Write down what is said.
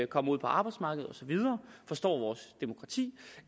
kommer ud på arbejdsmarkedet og så videre og forstår vores demokrati